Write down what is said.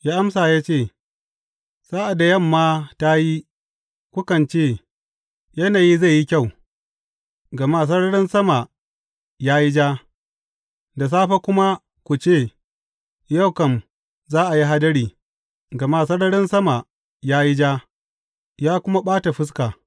Ya amsa ya ce, Sa’ad da yamma ta yi, kukan ce, Yanayi zai yi kyau, gama sararin sama ya yi ja,’ da safe kuma, ku ce, Yau kam za a yi hadari, gama sararin sama ya yi ja, ya kuma ɓata fuska.’